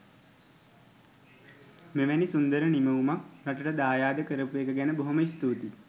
මෙවැනි සුන්දර නිමවුමක් රටට දායාද කරපු එක ගැන බොහොම ස්තුතියි